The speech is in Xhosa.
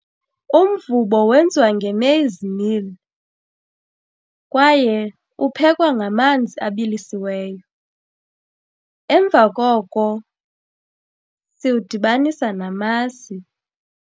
Umvubo wenziwa nge-maize meal kwaye uphekwa ngamanzi abilisiweyo. Emva koko siwudibanisa namasi.